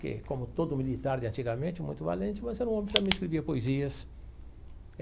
que, como todo militar de antigamente, muito valente, mas era um homem que também escrevia poesias.